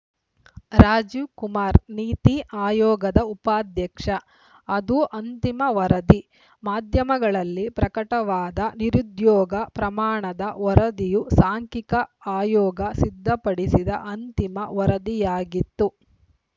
ರಾಜೀವ್‌ ಕುಮಾರ್‌ ನೀತಿ ಆಯೋಗದ ಉಪಾಧ್ಯಕ್ಷ ಅದು ಅಂತಿಮ ವರದಿ ಮಾಧ್ಯಮಗಳಲ್ಲಿ ಪ್ರಕಟವಾದ ನಿರುದ್ಯೋಗ ಪ್ರಮಾಣದ ವರದಿಯು ಸಾಂಖ್ಯಿಕ ಆಯೋಗ ಸಿದ್ಧಪಡಿಸಿದ ಅಂತಿಮ ವರದಿಯಾಗಿತ್ತು